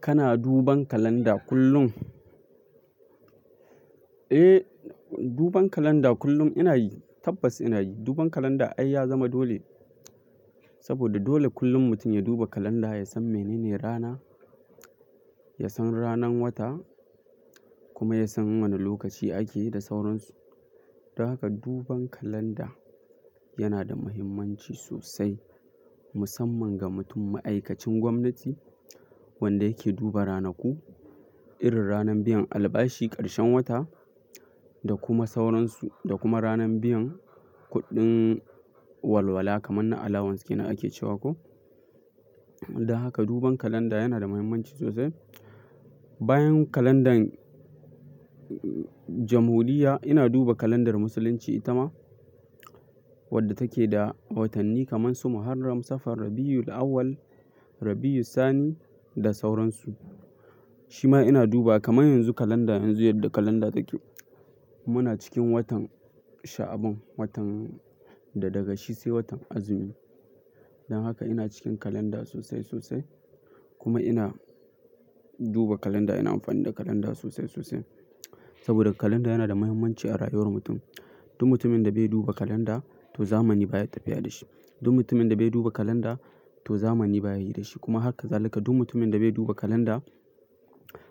Kana duban kalanda kullum? Eh, duban kalanda kullum ina yi, tabbas ina yi. Duban kalanda ai ya zama dole, saboda dole kullum mutum ya duba kalanda ya san menene rana, ya san ranan wata kuma ya san wane lokaci ake da sauransu. Dan haka duban kalanda yana da mahimmanci sosai musamman ga mutum ma'aikacin gwamnati wanda yake duba ranaku, irin ranan biyan albashi, ƙarshen wata da kuma sauransu da kuma ranan biyan kuɗin walwala kamar na allowance ke nan ake cewa ko. Dan haka duban kalanda yana da mahimmanci sosai. Bayan kalandan jamhuriya ina duba kalandar musulunci ita ma wadda take da watanni kamar su Muharram, Safar, Rabi'ul Awwal, Rabi'iu Sani da sauransu. Shi ma ina duba kamar yanzu kalanda yanzu yadda kalanda take. Muna cikin watan Sha'aban, watan da daga shi sai watan azumi. Dan haka ina cikin kalanda sosai sosai kuma ina duba kalanda ina amfani da kalanda sosai sosai. Saboda kalanda yana da mahimmanci a rayuwar mutum. Duk mutumin da bai duba kalanda to zamani baya tafiya da shi. Duk mutumin da bai duba kalanda to zamani baya yi da shi kuma haka zalaka duk mutumin da bai duba kalanda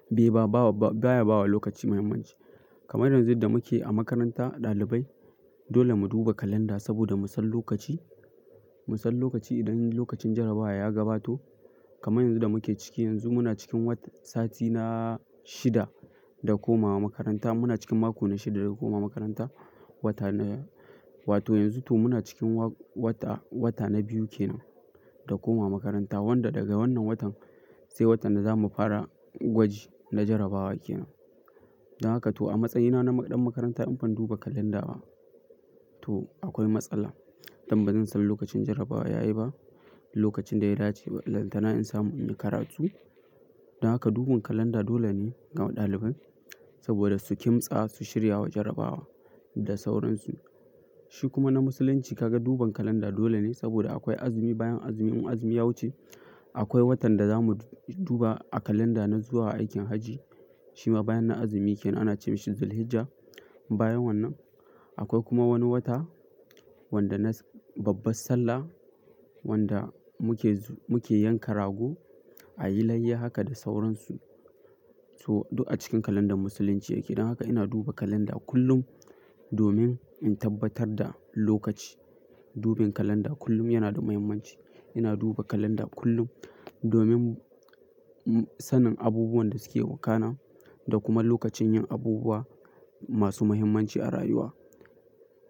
bai ba, bawa ba, baya bawa lokaci mahimmanci. Kamar yanzu da muke a makaranta ɗalibai dole mu duba kalanda saboda mu san lokaci, mu san lokaci idan lokacin jarabawa ya gabato kamar yanzu da muke ciki yanzu muna cikin wat, sati na shida da komawa makaranta muna cikin mako na shida da komawa makaranta wata na, wato yanzu to muna cikin wa, wata, wata na biyu kenan da komawa makaranta wanda daga wannan watan sai watan da zamu fara gwaji na jarabawa kenan. Dan haka to a matsayina na ɗan makaranta in ban duba kalanda ba to akwai matsala. Dan bazan san lokacin jarabawa ya yi ba, lokacin da ya dace balantana in samu inyi karatu. Dan haka duban kalanda dole ne ga ɗalibai saboda su kimtsa su shiryawa jarabawa da sauransu. Shi kuma na musulunci ka ga duban kalanda dole ne saboda akwai azumi bayan azumi in azumi ya wuce akwai watan da zamu duba a kalanda na zuwa aikin hajji. Shi ma bayan nan azumi kenan ana ce mashi Dhul Hijjah. Bayan wannan akwai kuma wani wata wanda na babbar Sallah wanda muke zu, muke yanka rago a yi layya haka da sauransu. To duk a cikin kalandar musulunci yake. Dan haka ina duba kalanda kullum domin in tabbatar da lokaci. Duban kalanda kullum yana da mahimmanci. Ina duba kalanda kullum domin sanin abubuwan da suke wakana da kuma lokacin yin abubuwa masu muhimmanci a rayuwa.